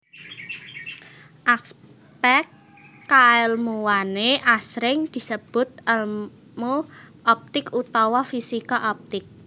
Aspèk kaèlmuwané asring disebut èlmu optik utawa fisika optik